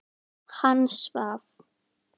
Hann svaf.